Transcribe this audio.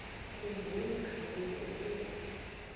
khumbula kaloku ukuba